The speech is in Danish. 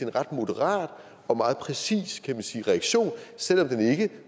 ret moderat og meget præcis kan man sige reaktion selv om den ikke